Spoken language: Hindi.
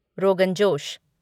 रोगन जोश